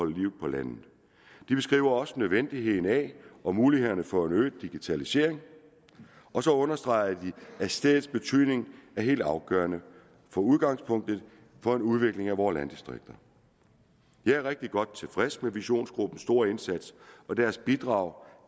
liv på landet de beskrev også nødvendigheden af og mulighederne for en øget digitalisering og så understregede de at stedets betydning er helt afgørende for udgangspunktet for en udvikling af vore landdistrikter jeg er rigtig godt tilfreds med visionsgruppens store indsats og deres bidrag